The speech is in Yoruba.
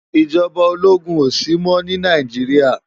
Ijòbá ólógún ó si mò ni Náijiriá